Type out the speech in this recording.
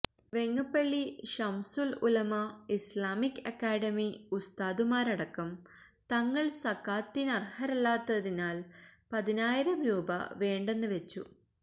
Vengappally Shamsul Ulama Islamic academy ഉസ്താദുമാരടക്കം തങ്ങള് സകാത്തിനര്ഹരല്ലാത്തതിനാല് പതിനായിരം രൂപ വേണ്ടെന്നുവച്ചു